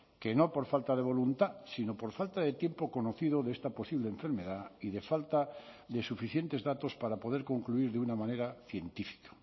que no por falta de voluntad sino por falta de tiempo conocido de esta posible enfermedad y de falta de suficientes datos para poder concluir de una manera científica